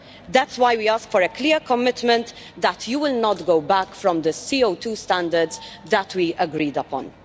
That's why we ask for a clear commitment that you will not go back from the CO2 standards that we agreed upon.